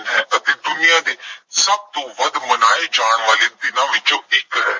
ਹੈ ਅਤੇ ਦੁਨੀਆ ਦੇ ਸਭ ਤੋਂ ਵੱਧ ਮਨਾਏ ਜਾਣ ਵਾਲੇ ਦਿਨਾਂ ਵਿੱਚੋਂ ਇੱਕ ਹੈ।